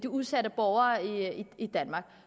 udsatte borgere i danmark